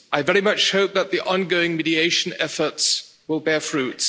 I very much hope that the ongoing mediation efforts will bear fruit.